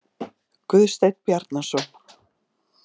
Guðsteinn Bjarnason.